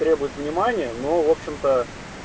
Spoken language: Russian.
требует внимания но в общем-то